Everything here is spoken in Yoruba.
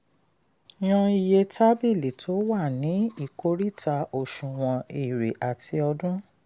yàn iye tábìlì tó wà ní ìkòríta òṣùwọ̀n ère àti ọdún.